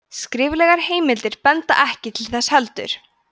skriflegar heimildir benda ekki til þess heldur